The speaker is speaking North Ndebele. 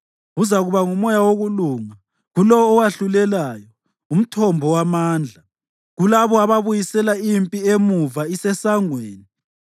Uzakuba ngumoya wokulunga kulowo owahlulelayo, umthombo wamandla kulabo ababuyisela impi emuva isisesangweni.